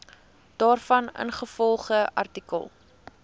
daarvan ingevolge artikel